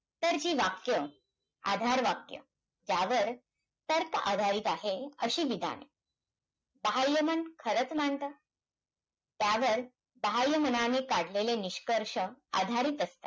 तर, जी वाक्य, आधार वाक्य, ज्यावर तर्क आधारित आहे, अशी विधान. बहाय्य मन खरंच मानतं. त्यावर, बहाय्य मनाने काढलेले, निष्कर्ष आधारित असतात.